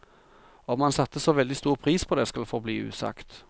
Om han satte så veldig stor pris på det, skal forbli usagt.